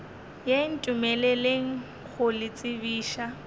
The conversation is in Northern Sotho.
ye ntumeleleng go le tsebiša